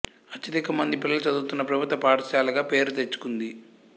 అత్యధిక మంది పిల్లలు చదువుతున్న ప్రభుత్వ పాఠశాలగా పేరు తెచ్చుకుంది